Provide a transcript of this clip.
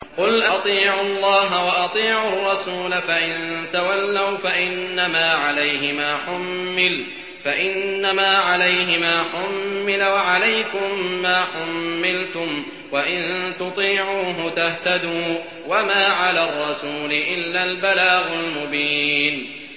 قُلْ أَطِيعُوا اللَّهَ وَأَطِيعُوا الرَّسُولَ ۖ فَإِن تَوَلَّوْا فَإِنَّمَا عَلَيْهِ مَا حُمِّلَ وَعَلَيْكُم مَّا حُمِّلْتُمْ ۖ وَإِن تُطِيعُوهُ تَهْتَدُوا ۚ وَمَا عَلَى الرَّسُولِ إِلَّا الْبَلَاغُ الْمُبِينُ